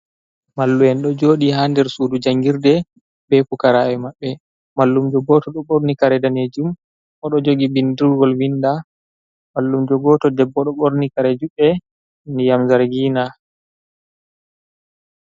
Mallu'en ɗo jodi ha nder sudu jangirde be pukarabe maɓɓe, mallumjo goto ɗo ɓorni kare danejum o ɗo jogi bindirgol vinda. Mallum jo goto debbo do borni kare juɗe ndiyam zargina.